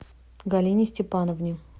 галине степановне